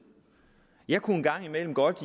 jeg kunne engang imellem godt